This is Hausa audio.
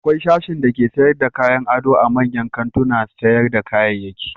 Akwai sashin dake sayar da kayan ado a manyan kantunan sayar da kayayyaki.